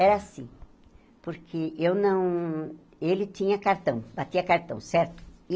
Era assim, porque eu não ele tinha cartão, batia cartão, certo?